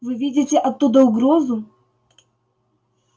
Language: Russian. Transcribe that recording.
вы видите оттуда угрозу